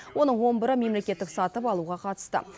оның он бірі мемлекеттік сатып алуға қатысты